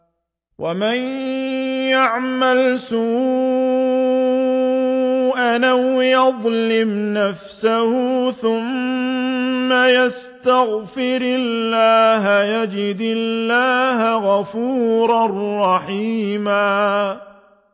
وَمَن يَعْمَلْ سُوءًا أَوْ يَظْلِمْ نَفْسَهُ ثُمَّ يَسْتَغْفِرِ اللَّهَ يَجِدِ اللَّهَ غَفُورًا رَّحِيمًا